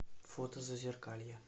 фото зазеркалье